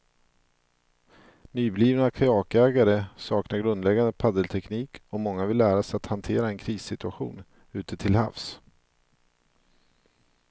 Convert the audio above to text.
Nyblivna kajakägare saknar grundläggande paddelteknik och många vill lära sig att hantera en krissituation ute till havs.